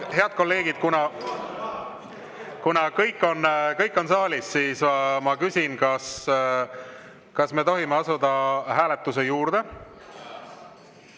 Head kolleegid, kuna kõik on saalis, siis ma küsin, kas me tohime asuda hääletuse juurde.